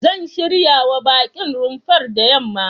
Zan shiryawa baƙin rumfar da yamma.